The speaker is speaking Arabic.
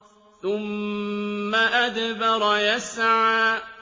ثُمَّ أَدْبَرَ يَسْعَىٰ